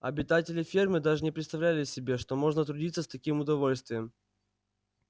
обитатели фермы даже не представляли себе что можно трудиться с таким удовольствием